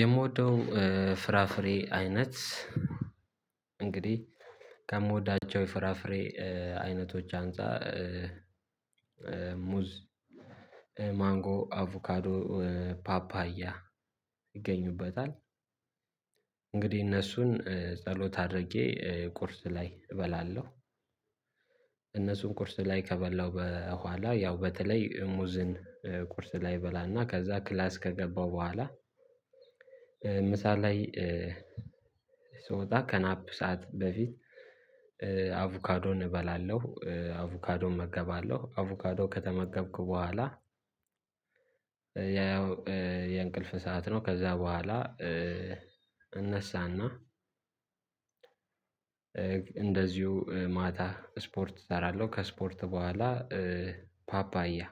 የምወደው ፍራፍሬ አይነት እንግዲህ ከምወዳቸው የፍራፍሬ አይነቶች አንፃር ሙዝ ማንጎ አቮካዶ ፓፓያ ይገኙበታል። እንግዲህ እነሱን ጸሎት አድርጌ ቁርስ ላይ እበላለሁ። እነሱን ቁርስ ላይ ከበላው በኋላ ያው በተለይ ሙዝን ቁርስ ላይ እበላና ከዛ ክላስ ከገባው በኋላ። ምሳ ላይ ስወጣ ከናፕ ሰዓት በፊት። አቮካዶን እበላለሁ አቮካዶን እመገባለሁ አቮካዶ ከተመገብኩ በኋላ። ያው የእንቅልፍ ሰዓት ነው ከዛ በኋላ እነሳና እንደዚሁ ማታ ስፖርት እሰራለሁ። ከስፖርት በኋላ ፓፓያ